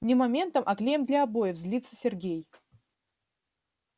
не моментом а клеем для обоев злится сергей